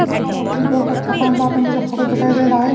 कि कमओक्खे भि बहुत अच्छा शानदार सा मुझे फोटो दिखाई दे रहा है।